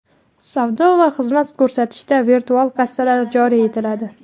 Savdo va xizmat ko‘rsatishda virtual kassalar joriy etiladi.